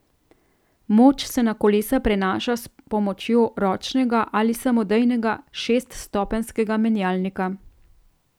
Moč se na kolesa prenaša s pomočjo ročnega ali samodejnega šeststopenjskega menjalnika.